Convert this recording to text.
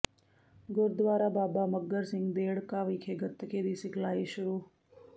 ਗੁਰਦੁਆਰਾ ਬਾਬਾ ਮੱਘਰ ਸਿੰਘ ਦੇਹੜਕਾ ਵਿਖੇ ਗਤਕੇ ਦੀ ਸਿਖਲਾਈ ਸ਼ੁਰੂ